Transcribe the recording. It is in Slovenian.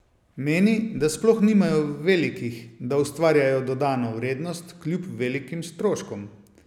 Meni, da sploh nimajo velikih, da ustvarjajo dodano vrednost kljub velikim stroškom.